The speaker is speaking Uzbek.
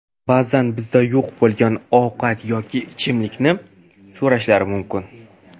Ba’zan bizda yo‘q bo‘lgan ovqat yoki ichimlikni so‘rashlari mumkin.